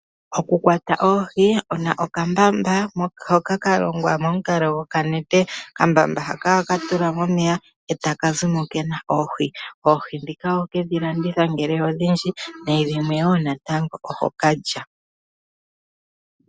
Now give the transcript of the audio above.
Okukwata oohi wuna okambamba hoka ka longwa momukalo gokanete. Okambamba haka ohaka tulwa momeya etaka zimo kena oohi. Oohi ndhika oho kedhi landitha ngele odhindji nenge dhimwe woo natango oho ka lya.